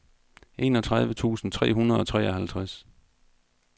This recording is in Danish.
enogtredive tusind tre hundrede og treoghalvtreds